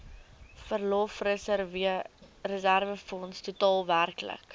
verlofreserwefonds totaal werklik